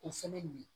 O fɛnɛ nin